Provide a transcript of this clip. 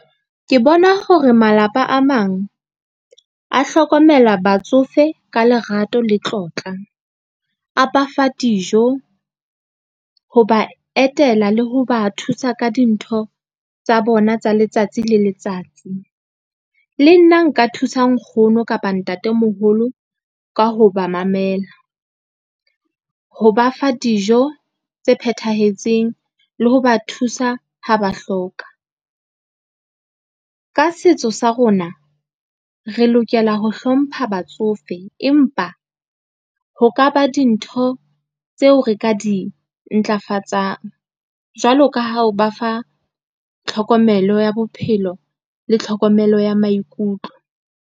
Ke bona hore malapa a mang a hlokomela batsofe ka lerato le tlotla, a ba fa dijo, ho ba etela le ho ba thusa ka dintho tsa bona tsa letsatsi le letsatsi. Le nna nka thusa nkgono kapa ntatemoholo ka ho ba mamela, ho ba fa dijo tse phethahetseng le ho ba thusa ha ba hloka. Ka setso sa rona re lokela ho hlompha batsofe, empa ho ka ba dintho tseo re ka di ntlafatsang, jwalo ka ha o ba fa tlhokomelo ya bophelo le tlhokomelo ya maikutlo.